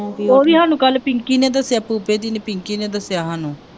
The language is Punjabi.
ਉਹ ਵੀ ਸਾਨੂੰ ਕੱਲ੍ਹ ਪਿੰਕੀ ਨੇ ਦੱਸਿਆ ਪੂਪੇ ਦੀ ਪਿੰਕੀ ਨੇ ਦੱਸਿਆ ਸਾਨੂੰ